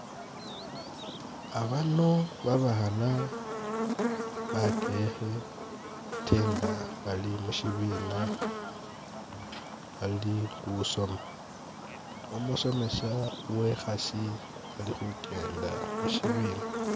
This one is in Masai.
Abano babaana bakehe ate nga bali mushibina bali khusoma, umusomesa uwe'khasi ali khukenda musibina